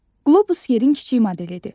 Qlobus yerin kiçik modelidir.